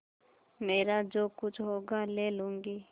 मेरा जो कुछ होगा ले लूँगी